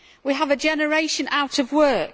We have a generation out of work.